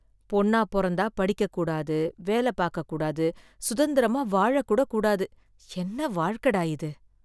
பொண்ணா பொறந்தா படிக்க கூடாது, வேல பாக்க கூடாது, சுதந்திரமா வாழ கூடக் கூடாது, என்ன வாழ்க்கடா இது!